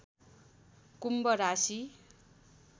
कुम्भ राशि